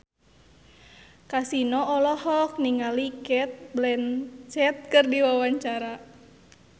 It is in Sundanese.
Kasino olohok ningali Cate Blanchett keur diwawancara